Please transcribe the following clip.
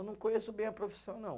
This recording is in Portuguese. Eu não conheço bem a profissão, não.